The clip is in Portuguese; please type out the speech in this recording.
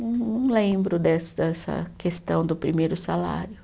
Não lembro dessa dessa questão do primeiro salário.